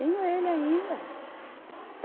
Tenho ele ainda.